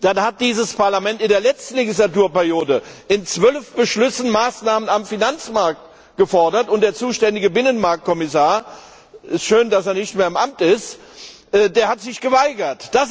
dann hat dieses Parlament in der letzten Legislaturperiode in 12 Beschlüssen Maßnahmen zum Finanzmarkt gefordert, und der zuständige Binnenmarktkommissar schön, dass er nicht mehr im Amt ist hat sich geweigert.